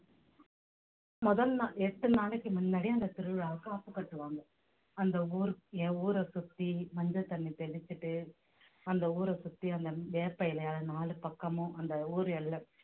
முதல் நாள் எட்டு நாளைக்கு முன்னாடி அந்த திருவிழாவுக்கு காப்பு கட்டுவாங்க அந்த ஊர் என் ஊரை சுத்தி மஞ்சள் தண்ணி தெளிச்சுட்டு அந்த ஊரை சுத்தி அந்த வேப்ப இலையை நாலு பக்கமும் அந்த ஊர் எல்லை